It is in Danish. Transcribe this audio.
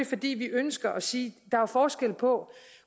fordi vi ønsker at sige at der er forskel på